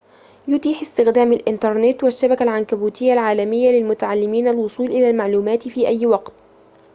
يتيح استخدام الإنترنت والشبكة العنكبوتية العالمية للمتعلمين الوصول إلى المعلومات في أي وقت